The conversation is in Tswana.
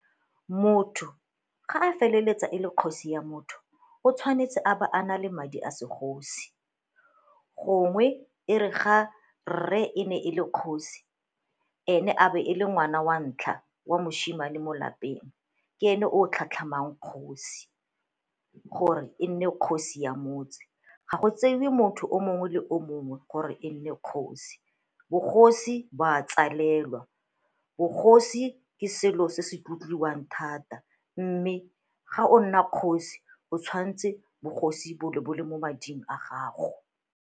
Motho ga a feleletsa e le kgosi ya motho o tshwanetse a ba a na le madi a segosi. Gongwe e re ga re e ne e le kgosi ene a be e le ngwana wa ntlha wa moshimane mo lapeng ke ene o tlhatlhamang kgosi gore e nne kgosi ya motse. Ga go tseiwe motho o mongwe le o mongwe gore e nne kgosi, bogosi bo a tswalelwa bogosi ke selo se se tlotliwang thata mme ga o nna kgosi o tshwanetse bogosi bo bo le mo mading a gago.